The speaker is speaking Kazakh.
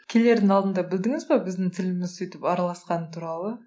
келердің алдында білдіңіз бе біздің тіліміз сөйтіп араласқаны туралы